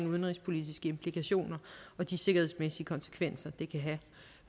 udenrigspolitiske implikationer og de sikkerhedsmæssige konsekvenser det kan have